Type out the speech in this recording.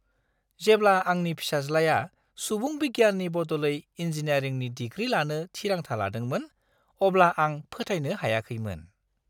जेब्ला आंनि फिसाज्लाया सुबुं बिगियाननि बदलै इंजीनियारिंनि डिग्री लानो थिरांथा लादोंमोन, अब्ला आं फोथायनो हायाखैमोन!